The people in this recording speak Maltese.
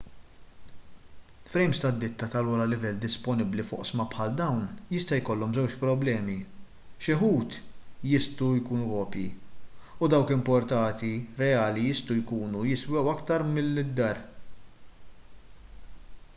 frejms tad-ditta tal-ogħla livell disponibbli f'oqsma bħal dawn jista' jkollhom żewġ problemi xi wħud jistgħu kopji u dawk importati reali jistgħu jkunu jiswew aktar milli d-dar